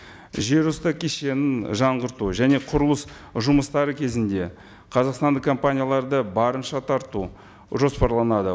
жер үсті кешенін жаңғырту және құрылыс жұмыстары кезінде қазақстандық компанияларды барынша тарту жоспарланады